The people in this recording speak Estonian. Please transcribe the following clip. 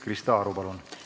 Krista Aru, palun!